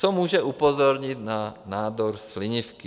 Co může upozornit na nádor slinivky?